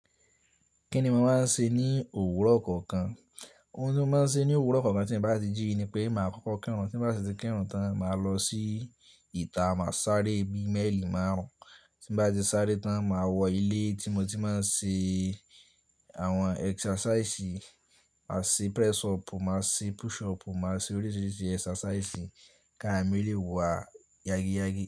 Kí ni mo máa ń ṣe ní òwúrọ̀ kọ̀ọ̀kan? Òun tí mo máa ń ṣe ní òwúrọ̀ kọ̀ọ̀kan tí mo bá ti jíí ni pé màá kókó kirùn. Tí m bá sì ti kirùn tán, màá lọ sí ìta, màá sáré bí mẹ́lì márùn-ún. Tí m bá ti sáré tán, màá wọ ilé tí mo ti máa ń ṣe àwọn exercise. Màá ṣe press up, màá ṣe push up, màá ṣe oríṣiríṣi exercise kàramì lè wà yági yági.